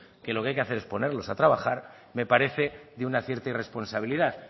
que lo que hay que hacer es ponerlos a trabajar me parece de una cierta irresponsabilidad